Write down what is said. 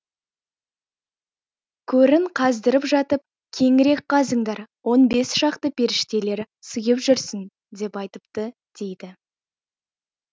көрін қаздырып жатып кеңірек қазыңдар он бес шақты періштелер сыйып жүрсін деп айтыпты дейді